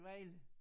Vejle